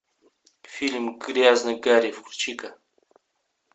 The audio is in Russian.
фильм грязный гарри включи ка